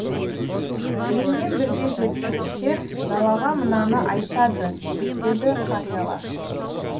желмен бірге жеткен шер далаға мынаны айтады деседі қариялар